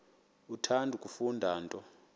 uthanda kufunda nto